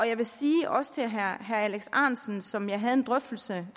jeg vil sige også til herre alex ahrendtsen som jeg havde en drøftelse